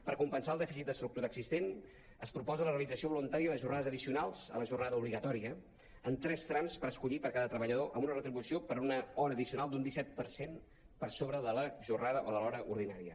per compensar el dèficit d’estructura existent es proposa la realització voluntària de jornades addicionals a la jornada obligatòria en tres trams per escollir per cada treballador amb una retribució per una hora addicional d’un disset per cent per sobre de la jornada o de l’hora ordinària